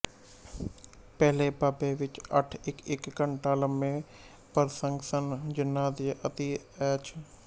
ਪਹਿਲੇ ਬਾਬ ਵਿੱਚ ਅੱਠ ਇੱਕਇੱਕ ਘੰਟਾ ਲੰਬੇ ਪਰਸੰਗ ਸਨ ਜਿਨ੍ਹਾਂ ਨੂੰ ਅਤਿ ਐੱਚ